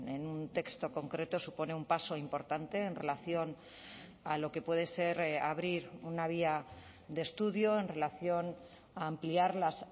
en un texto concreto supone un paso importante en relación a lo que puede ser abrir una vía de estudio en relación a ampliar las